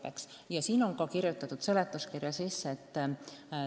Need summad jäävad SKA-le lisandunud kohustuste täitmiseks.